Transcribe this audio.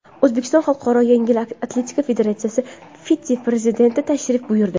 O‘zbekistonga Xalqaro yengil atletika federatsiyasi vitse-prezidenti tashrif buyurdi.